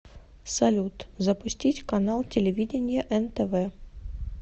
салют запустить канал телевидения нтв